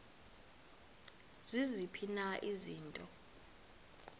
ziziphi na izinto